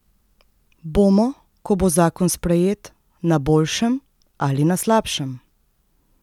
Bomo, ko bo zakon sprejet, na boljšem ali na slabšem?